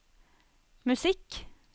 musikk